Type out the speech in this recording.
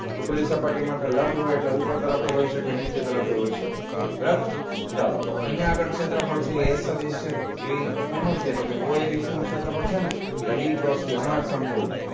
ખુલ્લી સપાટી માટે લંબ હોય એટલે ઉપર તરફ એય હોય સકે નીચે તરફ એય હોય સકે બરોબર ચાલો તો અહીંયા આગળ ક્ષેત્રફળ તો એ છે તો એ કોનું છે તો કે oabc નું ક્ષેત્રફળ છે ને એટલે b cross c હમણાં જ સમજાવ્યું